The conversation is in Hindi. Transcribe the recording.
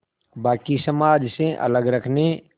बाक़ी समाज से अलग रखने